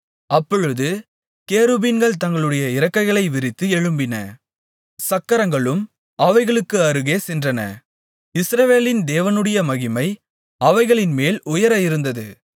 அப்பொழுது கேருபீன்கள் தங்களுடைய இறக்கைகளை விரித்து எழும்பின சக்கரங்களும் அவைகளுக்கு அருகே சென்றன இஸ்ரவேலின் தேவனுடைய மகிமை அவைகளின்மேல் உயர இருந்தது